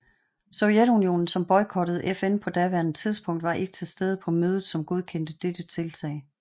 Sovjetunionen som boykottede FN på daværende tidspunkt var ikke til stede på mødet som godkendte dette tiltag